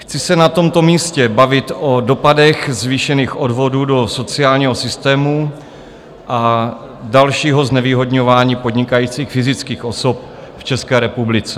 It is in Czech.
Chci se na tomto místě bavit o dopadech zvýšených odvodů do sociálního systému a dalšího znevýhodňování podnikajících fyzických osob v České republice.